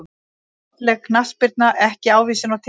Falleg knattspyrna ekki ávísun á titla